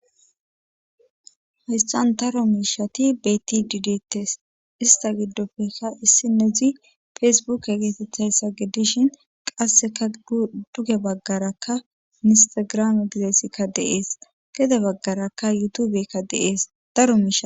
Haystan daro miishati beyti didtes ista giddofekka issi nedzi fesebuk geesethayssa geddishin qasseka duge baggarakka ministagram igizeesikka deees gede baggarakka yutubekka deees daro miisha.